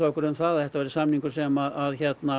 okkur um það að þetta væri samningur sem